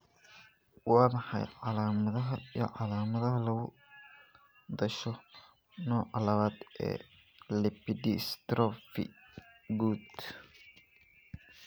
Waa maxay calaamadaha iyo calaamadaha lagu dhasho nooca lawaad ee lipodystrophy guud?